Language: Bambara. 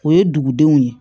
O ye dugudenw ye